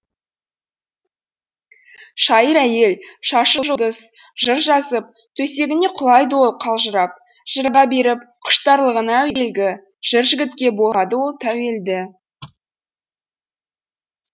шайыр әйел шашы жұлдыз жыр жазып төсегіне құлайды ол қалжырап жырға беріп құштарлығын әуелгі жыр жігітке болады ол тәуелді